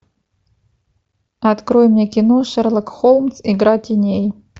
открой мне кино шерлок холмс игра теней